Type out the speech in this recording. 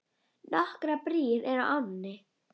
Nokkrar brýr eru á ánni.